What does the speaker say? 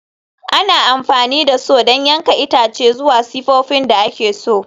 Ana amfani da Saw don yanke itace zuwa sifofin da ake so.